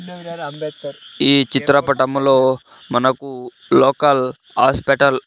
ఈ చిత్రపటము లో మనకు లోకల్ ఆస్పెటల్ .